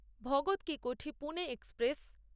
Bhagat Ki Kothi Pune express